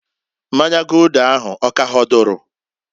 Mmanya Gulder ahụ ọ k'ahọdụrụ?